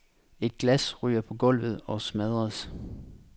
Et glas ryger på gulvet og smadres.